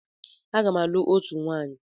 Aga m alụ òtù nwaanyi.